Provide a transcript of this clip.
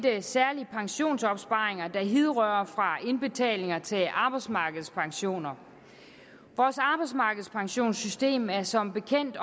særlige pensionsopsparinger der hidrører fra indbetalinger til arbejdsmarkedspensioner vores arbejdsmarkedspensionssystem er som bekendt